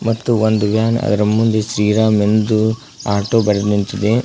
ಮತ್ತು ಒಂದು ವ್ಯಾನ್ ಅದರ ಮುಂದೆ ಶ್ರೀರಾಮ್ ಎಂದು ಆಟೋ ಬರೆದ್ ನಿಂತಿಂದೆ.